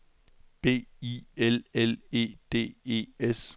B I L L E D E S